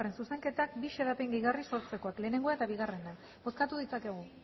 zuzenketak bi xedapen gehigarri sortzeko lehenengoa eta bigarrena bozkatu ditzakegu